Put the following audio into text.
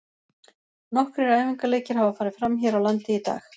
Nokkrir æfingaleikir hafa farið fram hér á landi í dag.